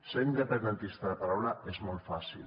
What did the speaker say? ser independentista de paraula és molt fàcil